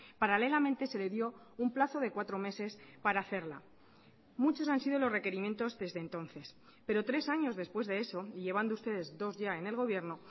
paralelamente se le dio un plazo de cuatro meses para hacerla muchos han sido los requerimientos desde entonces pero tres años después de eso y llevando ustedes dos ya en el gobierno